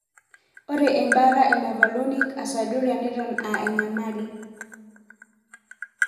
Ore embata e mevalonic aciduria neton aa enyamali.